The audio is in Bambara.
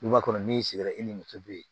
Duguba kɔnɔ n'i sigira i ni muso be yen